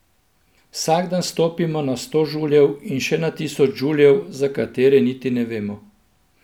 Vsak dan stopimo na sto žuljev in še na tisoč žuljev, za katere niti ne vemo.